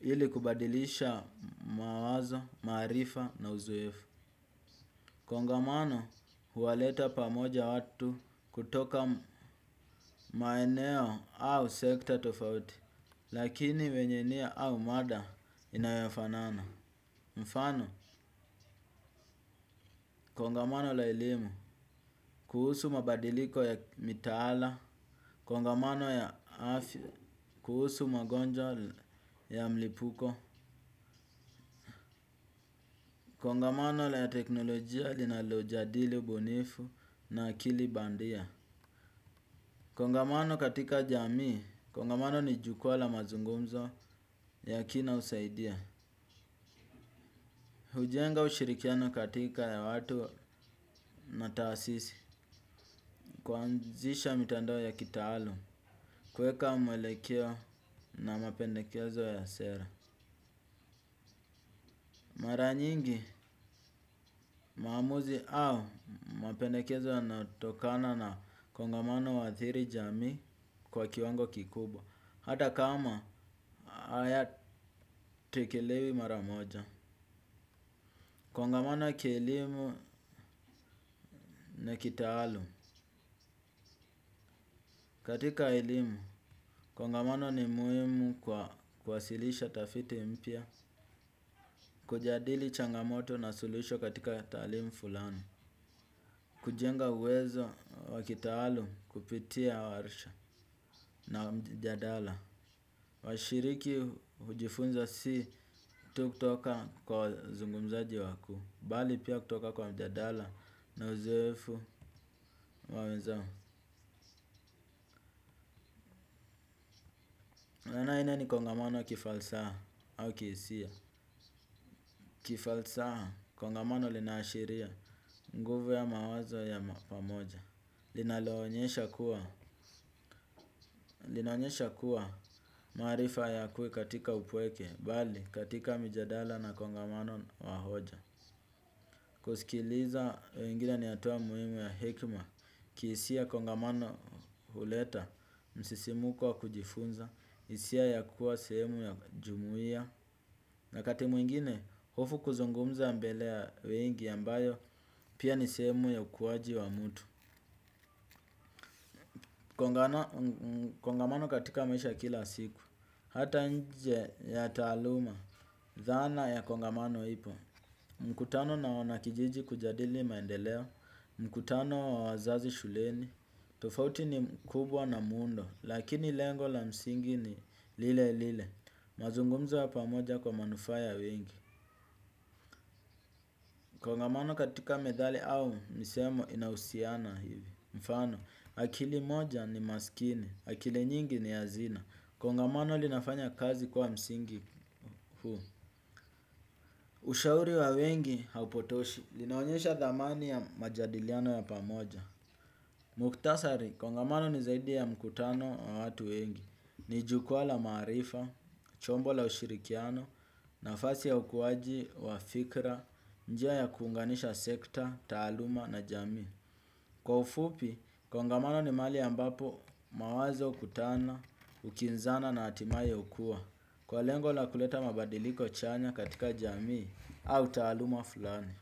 ili kubadilisha mawazo maarifa na uzoefu. Kongamano huwaleta pamoja watu kutoka maeneo au sekta tofauti lakini wenye nia au mada inayofanana. Mfano kongamano la elimu kuhusu mabadiliko ya mitaala kongamano ya afya kuhusu magonjwa ya mlipuko, kongamano la teknolojia linalo jadili ubunifu na akili bandia. Kongamano katika jamii kongamano ni jukwaa la mazungumzo ya kina husaidia. Hujenga ushirikiano katika ya watu na taasisi kuanzisha mitandao ya kitaalum kueka mwelekeo na mapendekezo ya sera. Mara nyingi maamuzi au mapendekezo yanayotokana na kongamano huathiri jamii kwa kiwango kikubwa. Hata kama haya tekelewi maramoja. Kongamano ya kielimu na kitaalum katika elimu kongamano ni muhimu kwa kuwasilisha tafiti mpya kujadili changamoto na suluhisho katika talimu fulani. Kujenga uwezo wa kitaalum kupitia warisha na mjadala washiriki hujifunza si tu kutoka kwa wazungumzaji wakuu bali pia kutoka kwa mjadala na uzoefu wa wenzao. Aina ni kongamano ya kifalsaha au kihisia. Kifalsaha kongamano lina ashiria nguvu ya mawazo ya pamoja. Linaonyesha kuwa maarifa hayakui katika upweke bali katika mijadala na kongamano wa hoja. Kusikiliza wengine ni hatua muhimu ya hekima kihisia kongamano huleta msisimuko wa kujifunza hisia ya kuwa sehemu ya jumuia. Na wakati mwingine hofu kuzungumza mbele ya wengi ambayo pia ni sehemu ya ukuaji wa mtu. Kongamano katika maisha ya kila siku hata nje ya taluma dhana ya kongamano ipo. Mkutano na wanakijiji kujadili maendeleo mkutano wa wazazi shuleni tofauti ni kubwa na mundo, lakini lengo la msingi ni lile lile, mazungumzo ya pamoja kwa manufaa ya wengi. Kongamano katika methali au misemo inahusiana hivi. Mfano akili moja ni masikini akile nyingi ni hazina. Kongamano linafanya kazi kwa msingi huu. Ushauri wa wengi haupotoshi linaonyesha dhamani ya majadiliano ya pamoja. Muktasari kongamano ni zaidi ya mkutano wa watu wengi. Ni jukwa la maarifa chombo la ushirikiano nafasi ya ukuwaji wa fikra. Njia ya kuunganisha sekta taaluma na jamii kwa ufupi kongamano ni mahali ambapo mawazo hukutana hukinzana na hatimaye hukua. Kwa lengo la kuleta mabadiliko chanya katika jamii au taaluma fulani.